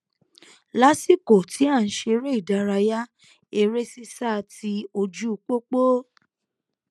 lásìkò tí à n ṣeré ìdárayá eré sísá ti ojú pópó